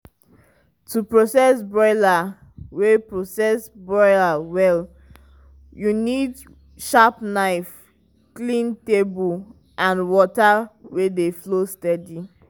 to process broiler well process broiler well you need sharp knife clean table and water wey dey flow steady.